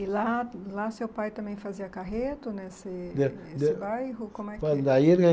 E lá, lá seu pai também fazia carreto nesse nesse bairro? Como é que. Olhe, daí ele